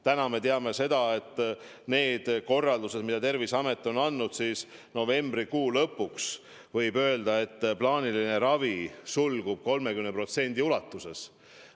Täna me teame, et lähtudes korraldustest, mis Terviseamet on andnud, võib novembrikuu lõpus öelda, et plaaniline ravi sulgub 30% ulatuses.